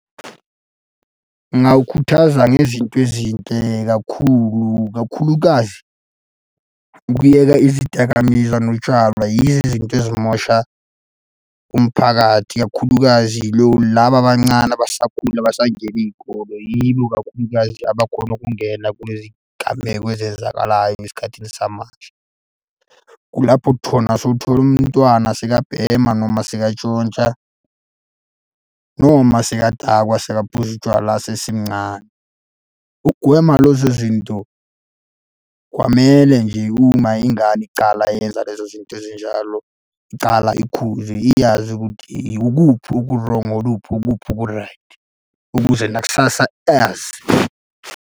Ngingawukhuthaza ngezinto ezinhle kakhulu, kakhulukazi ukuyeka izidakamizwa, notshalwa yizo izinto ezimosha umphakathi. Kakhulukazi laba abancane abasakhula abasangena iy'kole yibo kakhulukazi abakhona ukungena kulezi gameko ezenzakalayo esikhathini samanje. Kulapho sewuthole umntwana sekabhema noma sekatshontsha noma sekadakwa, sekaphuza utshwala esesemncane. Ukugwema lezo zinto, kwamele nje uma ingane icala yenza lezo zinto ezinjalo, icala ikhuzwe iyazi ukuthi ikuphi oku-wrong-o ukuphi oku-right, ukuze nakusasa azi.